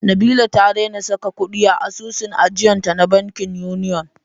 Nabila ta daina saka kuɗi a asusun ajiyanta na bankin Union.